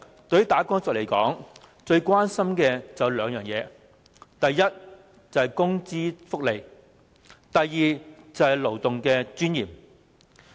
對於"打工仔"來說，他們最關心的有兩件事，第一，是工資和福利，第二，是勞動的尊嚴。